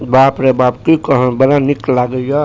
बाप रे बाप की कहब बड़ा निक लागे ये।